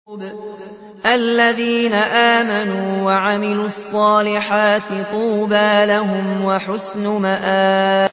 الَّذِينَ آمَنُوا وَعَمِلُوا الصَّالِحَاتِ طُوبَىٰ لَهُمْ وَحُسْنُ مَآبٍ